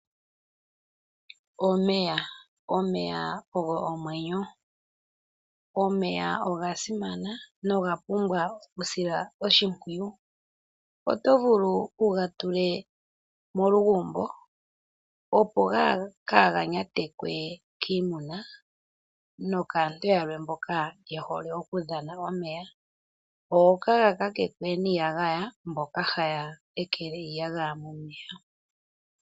Omeya ogo omwenyo, omeya nogasimana noga pumbwa okusilwa oshimpwiyu, otovulu wugatule molugumbo opo kaaga nyatekwe kiimuna nokaantu yamwe mboka yehole okudhana omeya ngo kaagakakekwe niiyagaya kaantu mboka yehole okweekelahi iiyagaya momeya.